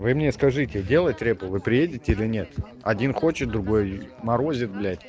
вы мне скажите делает репу вы приедете или нет один хочет другой морозит блядь